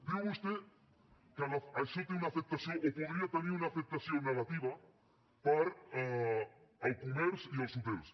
diu vostè que això té una afectació o podria tenir una afectació negativa per al comerç i els hotels